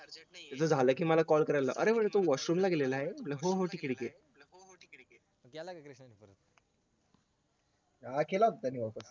जर झालं की मला call करायला लाव अरे तो washroom ला गेलेला आहे हो हो ठीके ठीके हा केला होता त्यांनी वाटतं